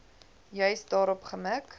juis daarop gemik